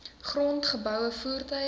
grond geboue voertuie